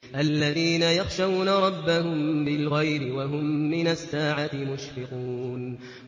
الَّذِينَ يَخْشَوْنَ رَبَّهُم بِالْغَيْبِ وَهُم مِّنَ السَّاعَةِ مُشْفِقُونَ